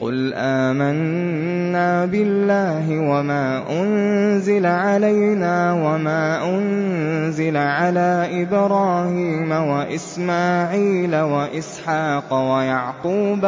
قُلْ آمَنَّا بِاللَّهِ وَمَا أُنزِلَ عَلَيْنَا وَمَا أُنزِلَ عَلَىٰ إِبْرَاهِيمَ وَإِسْمَاعِيلَ وَإِسْحَاقَ وَيَعْقُوبَ